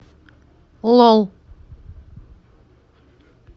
лол